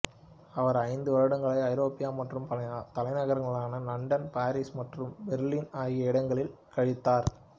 அவர் ஐந்து வருடங்களை ஐரோப்பா மற்றும் பல தலைநகரங்களான லண்டன் பாரிஸ் மற்றும் பெர்லின் ஆகிய இடங்களில் கழித்தார்